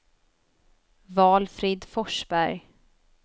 Valfrid Forsberg